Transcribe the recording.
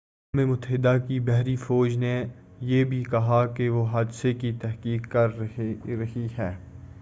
اقوام متحدہ کی بحری فوج نے یہ بھی کہا کہ وہ حادثے کی تحقیق کر رہی ہے